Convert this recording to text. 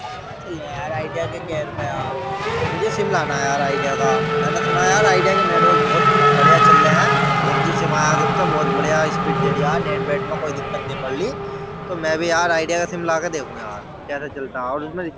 वहाँ चल यार आईडिया के केयर पे यार मुझे सिम लाना है आईडिया का मैनें सुना है आईडिया के नेटवर्क बहुत बढ़िया चल रहे है फोर जी सिम आया है जबसे बहुत बढ़िया स्पीड दे रहे है नेट वेट में कोई दिक्कत नहीं पड़ रही तो मैं भी यार आईडिया का सिम ला के देखूँ यार कैसा चलता है और उसमें रि --